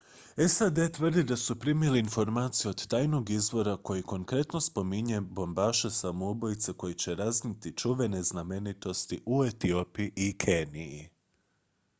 "sad tvrdi da su primili informacije od tajnog izvora koji konkretno spominje bombaše samoubojice koji će raznijeti "čuvene znamenitosti" u etiopiji i keniji.